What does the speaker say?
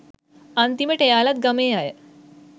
අන්තිමට එයාලත් ගමේ අය